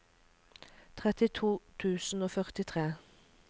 trettito tusen og førtitre